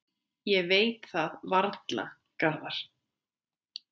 Ég veit það varla, Garðar.